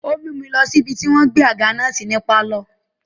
Ó mú mi lọ sí ibi tí wọ́n gbé àga náà sí ní pálọ̀.